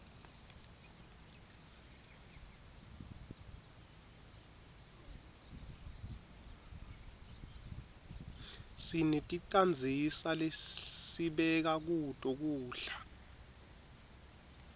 sineticandzisa lesibeka kuto kudla